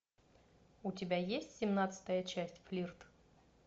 у тебя есть семнадцатая часть флирт